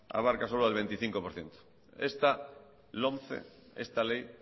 abarca solo al veinticinco por ciento esta lomce esta ley